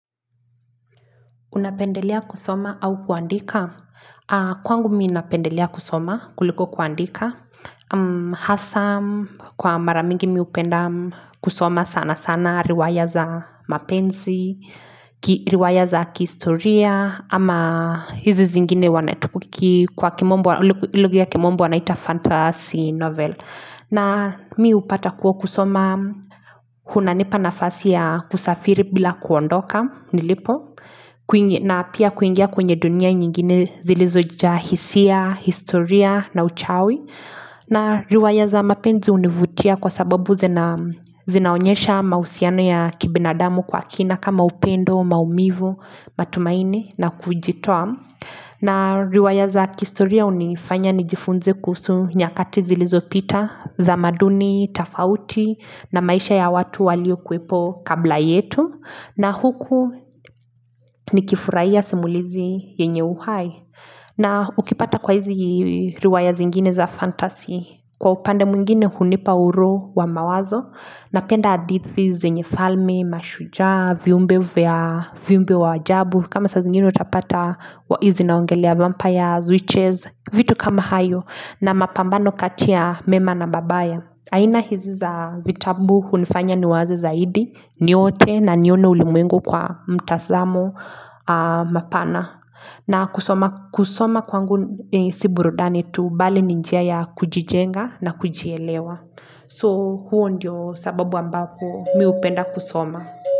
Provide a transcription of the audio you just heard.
Unapendelea kusoma au kuandika? Kwangu mi napendelia kusoma kuliko kuandika. Hasa kwa mara mingi mi hupenda kusoma sana sana riwaya za mapenzi, riwaya za kihistoria, ama hizi zingine wanatuki kwa kimombo, lugha ya kimombo wanaita fantasy novel. Na mi hupata kuwa kusoma kunanipa nafasi ya kusafiri bila kuondoka nilipo na pia kuingia kwenye dunia nyingine zilizojaa hisia, historia na uchawi na riwaya za mapenzi hunivutia kwa sababu zinaonyesha mahusiano ya kibinadamu kwa kina kama upendo, maumivu, matumaini na kujitoa na riwaya za kihistoria hunifanya nijifunze kuhusu nyakati zilizopita, thamaduni tafauti na maisha ya watu waliokuwepo kabla yetu. Na huku nikifurahia simulizi yenye uhai. Na ukipata kwa hizi riwaya zingine za fantasy, kwa upande mwingine hunipa uroho wa mawazo. Napenda hadithi zenye falmi, mashujaa, viumbe vya viumbe wa ajabu kama saa zingine utapata zinaongelea vampires, witches vitu kama hayo na mapambano kati ya mema na mabaya. Aina hizi za vitabu hunifanya niwaze zaidi niote na nione ulimwengu kwa mtazamo mapana. Na kusoma kwangu si burudani tu bali ni njia ya kujijenga na kujielewa. So huo ndio sababu ambapo mi hupenda kusoma.